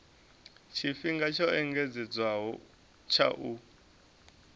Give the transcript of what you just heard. tshifhinga tsho engedzedzwaho tsha u